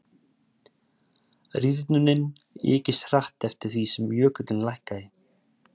rýrnunin ykist hratt eftir því sem jökullinn lækkaði